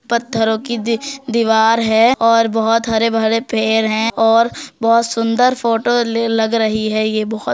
पत्थरों की दि दिवार है और बहोत हरे भरे पेड़ है और बहोत सुंदर फोटो लग रही है । यह बहोत --